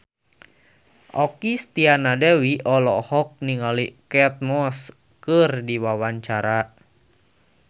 Okky Setiana Dewi olohok ningali Kate Moss keur diwawancara